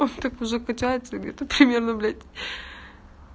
он так уже качается это примерно блять